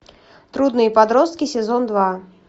трудные подростки сезон два